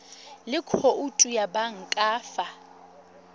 le khoutu ya banka fa